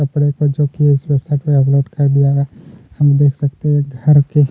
कपड़े को जो इस वेबसाइट पर अपलोड कर दिया गया है हम देख सकते है एक घर के --